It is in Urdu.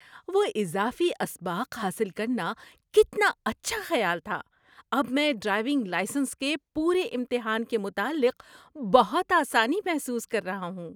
وہ اضافی اسباق حاصل کرنا کتنا اچھا خیال تھا! اب میں ڈرائیونگ لائسنس کے پورے امتحان کے متعلق بہت آسانی محسوس کر رہا ہوں۔